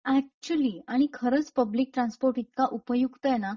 actually आणि खरंच public transport इतका उपयुक्त आहेना;